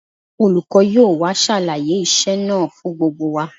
Olùkọ́ yóò wá ṣàlàyé iṣẹ́ náà fún gbogbo wa